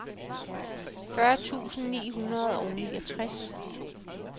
fyrre tusind ni hundrede og niogtres